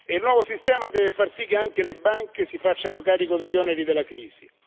Il nuovo sistema deve far sì che anche le banche si facciano carico degli oneri della crisi.